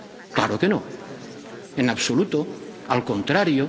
Claro que no, en absoluto, al contrario.